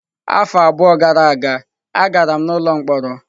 Afọ abụọ gara aga, agara m n'ụlọ mkpọrọ.